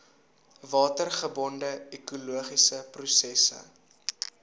watergebonde ekologiese prosesse